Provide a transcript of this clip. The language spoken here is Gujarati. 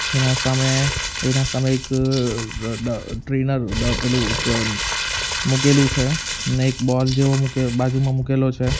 એના સામે એના સામે એક અ ડ ટ્રેનર પેલું અ ડ મૂકેલું છે ને એક બોલ જેવો મૂકે બાજુમાં મુકેલો છે.